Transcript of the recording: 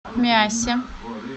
миассе